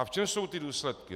A v čem jsou ty důsledky?